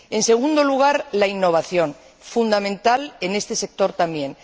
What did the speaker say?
En segundo lugar, la innovación, fundamental en este sector también.